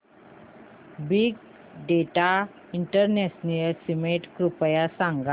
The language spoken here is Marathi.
बिग डेटा इंटरनॅशनल समिट कृपया सांगा